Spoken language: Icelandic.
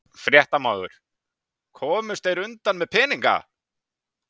Fréttamaður: Komust þeir undan með peninga?